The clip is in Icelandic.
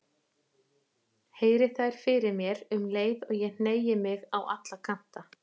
Heyri þær fyrir mér um leið og ég hneigi mig á alla kanta.